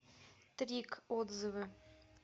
трик отзывы